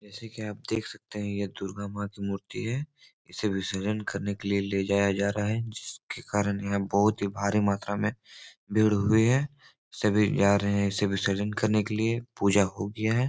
जैसे कि आप देख सकते हैं ये दुर्गा मां की मूर्ति है इसे विसर्जन करने के लिए ले जाया जा रहा है जिसके कारण यहाँ बहुत ही भारी मात्रा में भीड़ हुई है सभी जा रहे हैं इसे विसर्जन करने के लिए पूजा हो गया है।